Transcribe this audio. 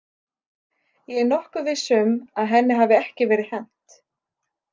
Ég er nokkuð viss um að henni hafi ekki verið hent.